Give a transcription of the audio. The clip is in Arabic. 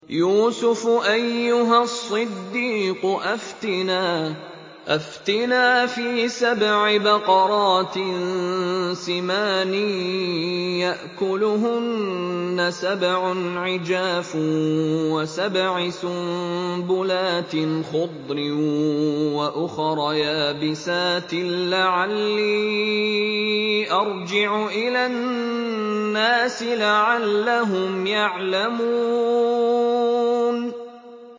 يُوسُفُ أَيُّهَا الصِّدِّيقُ أَفْتِنَا فِي سَبْعِ بَقَرَاتٍ سِمَانٍ يَأْكُلُهُنَّ سَبْعٌ عِجَافٌ وَسَبْعِ سُنبُلَاتٍ خُضْرٍ وَأُخَرَ يَابِسَاتٍ لَّعَلِّي أَرْجِعُ إِلَى النَّاسِ لَعَلَّهُمْ يَعْلَمُونَ